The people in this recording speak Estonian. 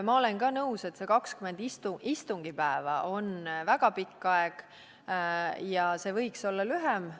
Ma olen ka nõus, et 20 istungipäeva on väga pikk aeg ja see võiks olla lühem.